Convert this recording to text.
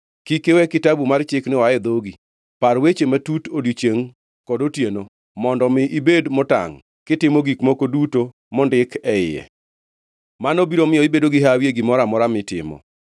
Kik iwe Kitabu mar Chikni oa e dhogi; par wechene matut odiechiengʼ kod otieno, mondo mi ibed motangʼ kitimo gik moko duto mondik e iye. Mano biro miyo ibedo gi hawi e gimoro amora mitimo.